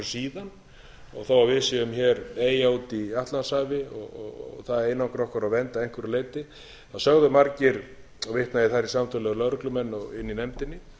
síðan þó við séum hér eyja úti í atlantshafi það einangri okkur og verndi að einhverju leyti þá sögðu margir vitna ég þar í samtöl við lögreglumenn og inni í nefndinni